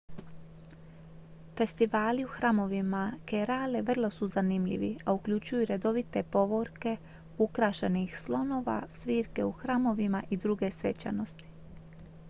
festivali u hramovima kerale vrlo su zanimljivi a uključuju redovite povorke ukrašenih slonova svirke u hramovima i druge svečanosti